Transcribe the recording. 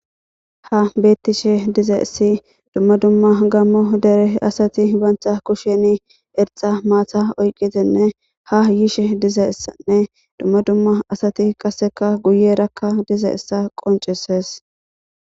Ha beettishe diza essi dumma dumma gammo dere asati bantha kushen erxa maatha oyqitinne ha yiishe diza issanne dumma dumma asati qaseka guye rakka diza issa qonceses.